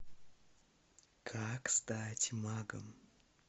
как стать магом